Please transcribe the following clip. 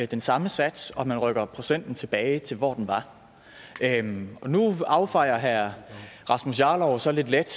den samme sats og at man rykker procenten tilbage til hvor den var nu affejer herre rasmus jarlov så lidt let